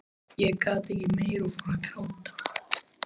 Ég gat ekki meir og fór að gráta.